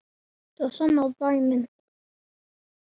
Það sanna dæmin.